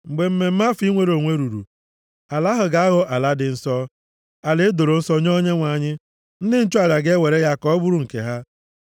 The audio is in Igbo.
Mgbe mmemme afọ inwere onwe ruru, ala ahụ ga-aghọ ala dị nsọ, ala e doro nsọ nye Onyenwe anyị. Ndị nchụaja ga-ewere ya ka ọ bụrụ nke ha.